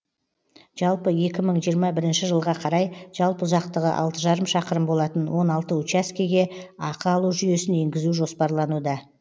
жалпы екі мың жиырма бірінші жылға қарай жалпы ұзақтығы алты жарым шақырым болатын он алты учаскеге ақы алу жүйесін енгізу жоспарлануда